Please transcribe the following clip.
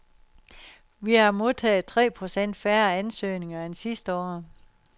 Vi har modtaget tre procent færre ansøgninger end sidste år.